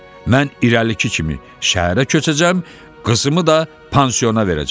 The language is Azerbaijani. Mən irəlik kimi şəhərə köçəcəm, qızımı da pansiona verəcəm.